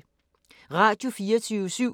Radio24syv